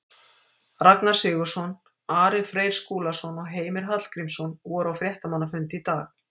Ragnar Sigurðsson, Ari Freyr Skúlason og Heimir Hallgrímsson voru á fréttamannafundi í dag.